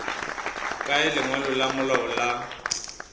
kae lengwalo la malao la